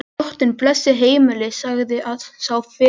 Drottinn blessi heimilið, sagði sá fyrri.